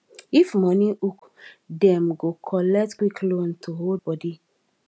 if money hook dem go collect quick loan to hold body